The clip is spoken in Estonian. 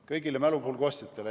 Kõigile mälupulga ostjatele?